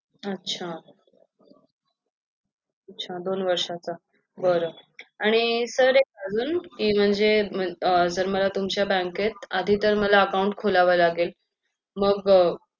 अच्छा अच्छा दोन वर्षचा बर आणि sir एक आजून कि म्हणजे sir तुमच्या आधीतर तुमच्या बँकेत account खोलावे लागेल मग